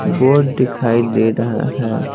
Board दिखाई दे रहा है।